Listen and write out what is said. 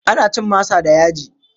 Ana cin masa da yaji.